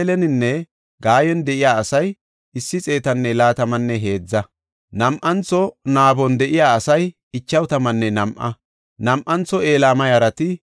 Haysafe kaallidi de7eysati di7etethaafe simmida Leeweta; Hodawa yara gidiya Iyyasunne Qadimi7eela yarati 74;